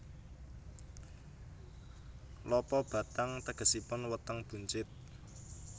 Lopobattang tegesipun Weteng Buncit